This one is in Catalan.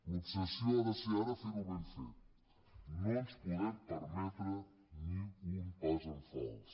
l’obsessió ha de ser ara ferho ben fet no ens podem permetre ni un pas en fals